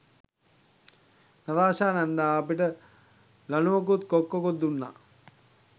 Natasha නැන්දා අපිට ලණුවකුත් කොක්කකුත් දුන්නා.